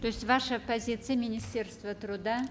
то есть ваша позиция министерства труда